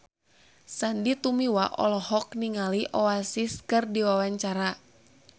Sandy Tumiwa olohok ningali Oasis keur diwawancara